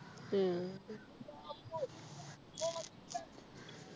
ഉം